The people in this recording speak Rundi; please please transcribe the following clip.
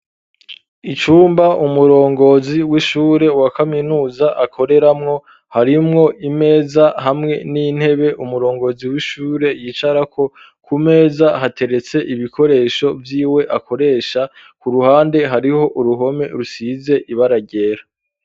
Icumba umurongozi w'ishure wa kaminuza akoreramwo harimwo imeza hamwe n'intebe umurongozi w'ishure yicarako ku meza hateretse ibikoresho vyiwe akoresha ku ruhande hariho uruhome rusize ibara ryera